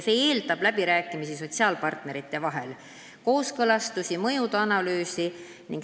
See eeldab läbirääkimisi sotsiaalpartnerite vahel, kooskõlastusi ja mõjuanalüüsi.